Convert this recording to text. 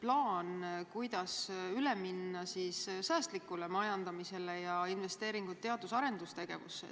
plaan, kuidas üle minna säästlikule majandamisele ja teha investeeringuid teadus- ja arendustegevusse.